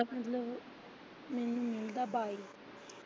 ਮੈਨੂੰ ਮਿਲਦਾ ਬਾਈ।